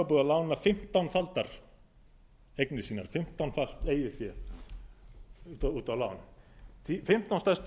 og sjö var það búið að lána fimmtánfaldar eignir sínar fimmtánfalt eigið fé út á land fimmtán stærstu